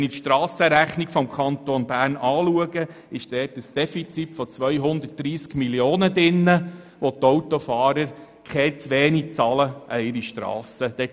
Wenn ich mir die Strassenrechnung des Kantons Bern anschaue, ist dort ein Defizit von 230 Mio. Franken enthalten, weil die Autofahrer diesen Betrag zu wenig an ihre Strassen bezahlen.